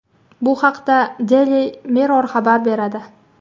Bu haqda Daily Mirror xabar beradi .